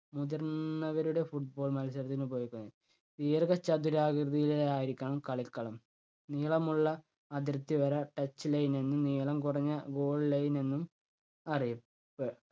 മുതിർന്നവരുടെ football മത്സരത്തിനുപയോഗിക്കുന്നത്. ദീർഘചതുരാകൃതിയിലായിരിക്കണം കളിക്കളം. നീളമുള്ള അതിർത്തി വര touch line എന്നും നീളം കുറഞ്ഞ wall line എന്നും അറിയ~പ്പെ